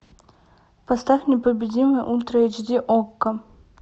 поставь непобедимый ультра эйч ди окко